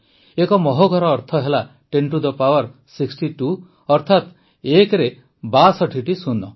ଏକ ମହୋଘର ଅର୍ଥ ହେଲା ଟେନ୍ ଟୁ ଦି ପାୱାର୍ ୬୨ ଅର୍ଥାତ ୧ରେ ୬୨ଟି ଶୂନ